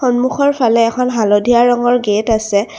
সন্মুখৰ ফালে এখন হালধীয়া ৰঙৰ গেট আছে।